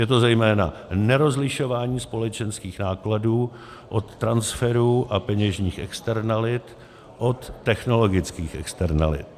Je to zejména nerozlišování společenských nákladů od transferů a peněžních externalit od technologických externalit.